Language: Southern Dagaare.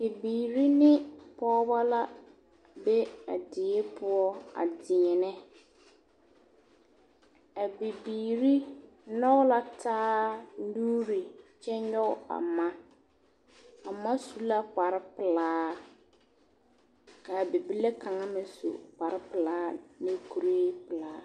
Bibiiri ne pɔgeba la be a die poɔ a deɛnɛ a bibiiri nyɔge la taa nuuri kyɛ nyɔge a ma a ma su la kparepelaa k,a bibile kaŋ meŋ su kparepelaa ne kuripelaa.